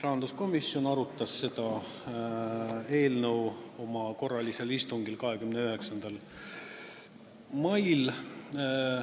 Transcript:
Rahanduskomisjon arutas seda eelnõu oma korralisel istungil 29. mail.